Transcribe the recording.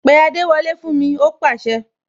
Pé adewole fún mi!, ó pase